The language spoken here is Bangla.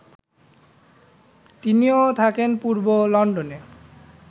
তিনিও থাকেন পূর্ব লন্ডনে